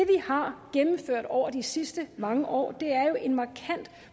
har gennemført over de sidste mange år er jo en markant